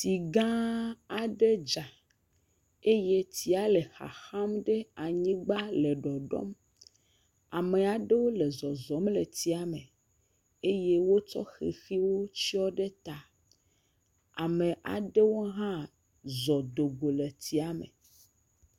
Tsigã aɖe dza eye tsia le xaxam ɖe anyigbã le ɖɔɖɔm ame aɖewo zɔzɔm le tsiame eye wotsɔ xexiwo tsyɔ ɖe ta ame aɖewo ha zɔ dogo le tsiame